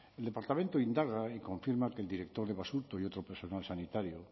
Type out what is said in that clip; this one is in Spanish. el departamento indaga y confirma que el director de basurto y otro personal sanitario